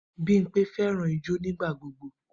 Bimpe fẹràn ijó nigbagbogbo.